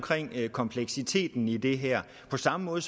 kompleksiteten i det her på samme måde